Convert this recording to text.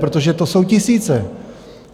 Protože to jsou tisíce!